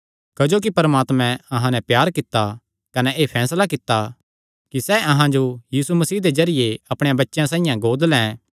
क्जोकि परमात्मे अहां नैं प्यार कित्ता कने एह़ फैसला कित्ता कि सैह़ अहां जो यीशु मसीह दे जरिये अपणे बच्चेयां साइआं गोद लैं